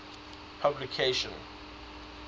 publication